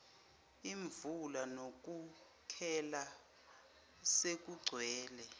imvula nothukela selugcwele